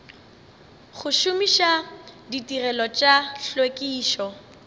go šomiša ditirelo tša tlhwekišo